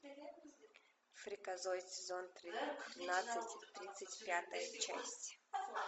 фриказоид сезон тринадцать тридцать пятая часть